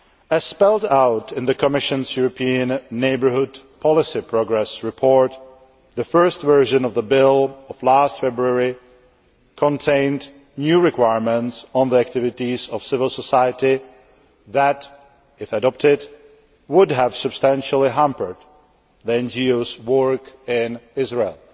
As spelled out in the Commission's European Neighbourhood Policy Progress Report, the first version of the bill, last February, contained new requirements on the activities of civil society that if adopted would have substantially hampered NGO work in Israel.